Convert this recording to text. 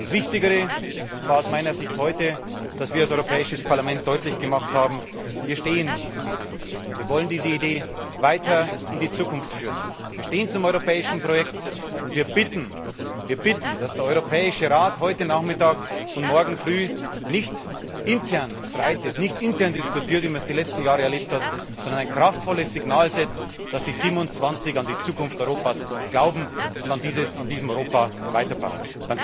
Das Wichtigere war aus meiner Sicht heute, dass wir als Europäisches Parlament deutlich gemacht haben Wir stehen zu dieser Idee, wir wollen diese Idee weiter in die Zukunft führen, wir stehen zum europäischen Projekt, und wir bitten wir bitten dass der Europäische Rat heute Nachmittag und morgen früh nicht intern streitet, nicht intern diskutiert, wie wir es die letzten Jahre erlebt haben, sondern ein kraftvolles Signal setzt, dass die 27 an die Zukunft Europas glauben und an diesem Europa weiterbauen.